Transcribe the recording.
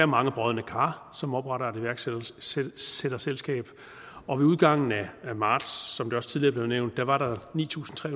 mange brodne kar som opretter et iværksætterselskab og ved udgangen af marts som det også tidligere blev nævnt var der ni tusind tre